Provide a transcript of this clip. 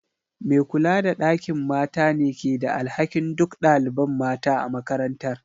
Me kula da ɗakin mata ne ke da alhakin duk ɗaliban mata a makarantar.